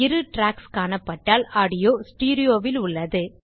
இரு ட்ராக்ஸ் காணப்பட்டால் audio stereo வில் உள்ளது